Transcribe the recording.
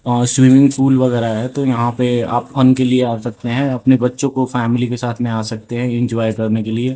वहां swimming pool वगैरह है तो यहां पे आप फन लिए आ सकते हैं अपने बच्चों को फैमिली के साथ में आ सकते हैं एंजॉय करने के लिए।